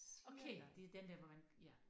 Okay det den der hvor man ja